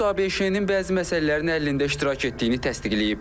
Brus ABŞ-nin bəzi məsələlərin həllində iştirak etdiyini təsdiqləyib.